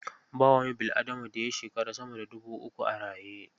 Ba wani bil'adama da ya shekara sama da dubu uku a raye.